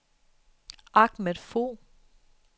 Ahmad Fogh